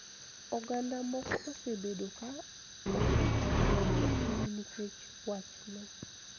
Oganda moko osebedo ka okethore e piny nikech wachni.